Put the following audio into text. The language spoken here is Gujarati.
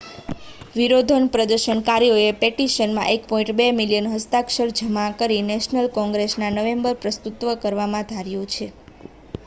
વિરોધ પ્રદર્શનકારીયોએ પેટિશનમાં1.2 મિલિયન હસ્તાક્ષર જમા કરી નેશનલ કોંગ્રેસમાં નવેમ્બરમાં પ્રસ્તુત કરવાનુ ધાર્યુ છે